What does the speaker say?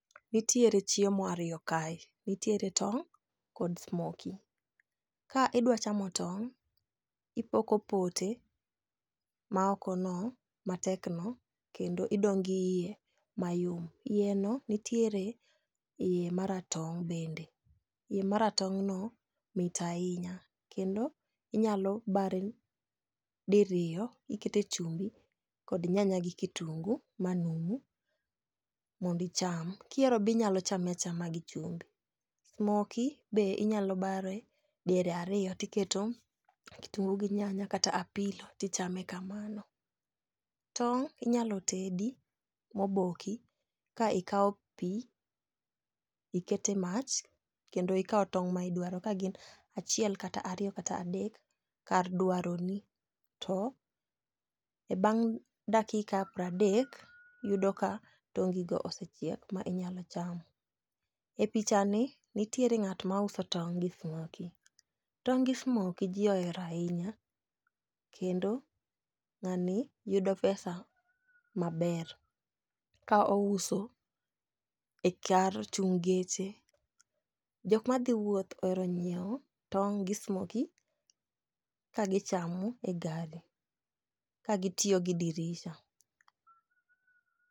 Nitiere chiemo ariyo kae nitiere tong' kod smokey. Ka idwa chamo tong' ipoko pote ma oko no matek no kendo idong' gi iye mayom iye no nitiere iye maratong' bende . Iye maratong' no mit ahinya kendo inyalo bare diriyo ikete chumbi kod nyanya gi kitungu manumu mondi cham. Kihero binyalo chame achama gi chumbi. Smokey be inyalo bare diere ariyo tiketo kitungu gi nyanya kata apilo tichame kamano. Tong' inyalo tedi moboki ka ikawo pii ikete mach kendo ikawo tong' ma idaro kgin achiel kata ariyo kata adek kar dwaro ni to bang' dakika pradek yudo ka tongi go osechiek ma inyalo chamo. E picha ni nitiere ng'at ma uso tong' gi smokey. Tong' gi smokey jii ohero ahinya kendo ng'ani yudo pesa maber ka ouso e kar chung' geche .Jok madhi wuoth ohero nyiewo tong' gi smokey ka gichamo e gari ka gitiyo gi dirisa.